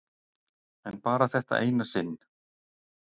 En bara þetta eina sinn.